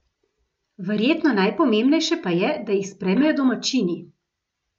Verjetno najpomembnejše pa je, da jih sprejmejo domačini.